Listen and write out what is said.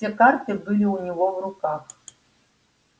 все карты были у него в руках